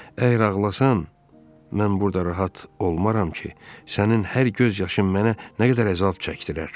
Əgər ağlasan, mən burda rahat olmaram ki, sənin hər göz yaşın mənə nə qədər əzab çəktirər.